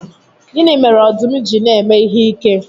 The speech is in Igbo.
Gịnị mere ọdụm ji na-eme ihe ike?